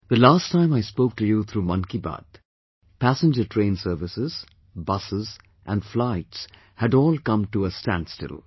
The last time I spoke to you through 'Mann Ki Baat' , passenger train services, busses and flights had come to a standstill